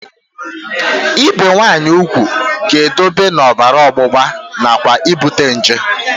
Ibi nwaanyị ugwu ga-eduba na ọbara ọgbụgba nakwa ibute nje